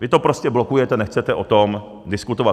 Vy to prostě blokujete, nechcete o tom diskutovat.